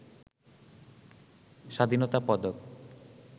স্বাধীনতা পদক